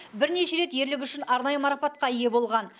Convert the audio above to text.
бірнеше рет ерлігі үшін арнайы марапатқа ие болған